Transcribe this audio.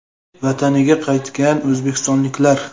Vataniga qaytgan o‘zbekistonliklar.